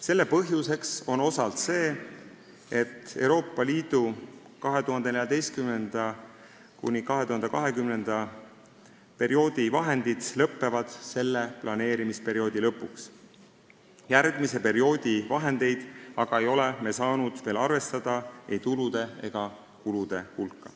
Selle põhjuseks on osalt see, et Euroopa Liidu 2014.–2020. aasta vahendid lõpevad selle planeerimisperioodi lõpuks, järgmise perioodi vahendeid ei ole me aga saanud veel arvestada ei tulude ega kulude hulka.